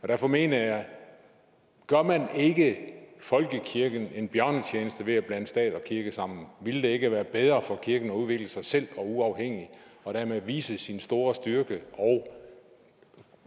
derfor mener jeg gør man ikke folkekirken en bjørnetjeneste ved at blande stat og kirke sammen ville det ikke være bedre for kirken at udvikle sig selv og uafhængigt og dermed vise sin store styrke og